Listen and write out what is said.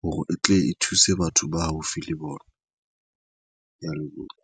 hore e tle e thuse batho ba haufi le bona. Ke ya leboha.